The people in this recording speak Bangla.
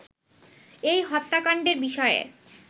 এই হত্যাকাণ্ডের বিষয়ে